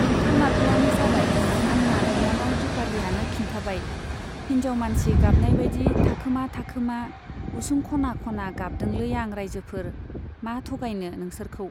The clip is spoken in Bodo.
नंथारमारगौआनो जाबाय, आंना बिनानाव दिपालीयानो खिन्थाबाय हिन्जाव मानसि गाबनाय बाइदि थाखोमा थाखोमा उसुं खना खना गाबदोंलै आं राइजोफोर , मा थगायनो नोंसोरखौ।